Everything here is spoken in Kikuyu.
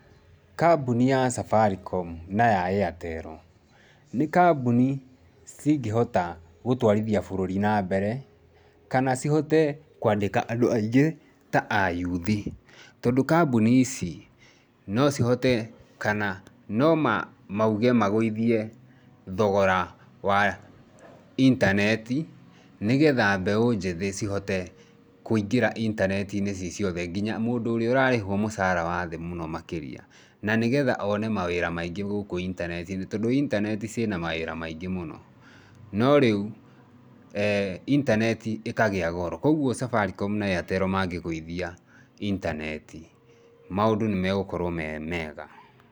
Kambuni ya Safaricom na ya Airtel nĩ kambuni cingĩhota gũtwarithia bũrũri nambere, kana cihote kũandĩka andũ aingĩ ta a youth. Tondũ kambuni ici no cihote kana no mauge magũithie thogora wa intaneti nĩgetha mbeũ njĩthĩ cihote kũingĩra intaneti-inĩ ci ciothe, nginya mũndũ ũrĩa ũrarĩhwo mũcara wa thĩ mũno makĩria na nĩgetha one mawĩra maingĩ gũkũ intaneti-inĩ tondũ intaneti ciĩna mawĩra maingĩ mũno. No rĩu intaneti ĩkagĩa goro. Kwoguo Safaricom na Airtel mangĩ gũithia intaneti, maũndũ nĩ megũkorwo me mega.